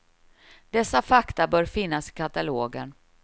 Dessa fakta bör finnas i katalogen.